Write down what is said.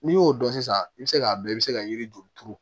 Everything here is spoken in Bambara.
N'i y'o dɔn sisan i bɛ se k'a dɔn i bɛ se ka yiri turu